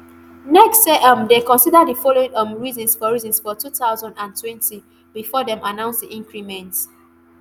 nerc say um dem consider di following um reasons for reasons for two thousand and twenty bifor dem announce di increment.